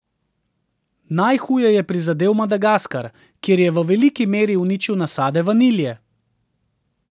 Najhuje je prizadel Madagaskar, kjer je v veliki meri uničil nasade vanilje.